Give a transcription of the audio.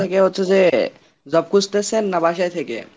হচ্ছে যে job খুজতেছেন না বাসায় থেকে?